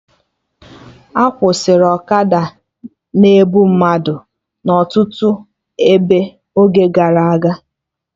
A kwụsịrị ọkada na-ebu mmadụ na ọtụtụ ebe n'oge gara aga